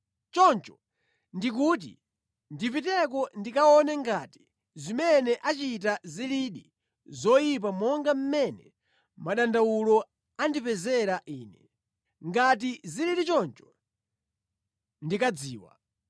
choncho ndikuti ndipiteko ndikaone ngati zimene achita zilidi zoyipa monga mmene madandawulo andipezera Ine. Ngati sizili choncho, ndikadziwa.”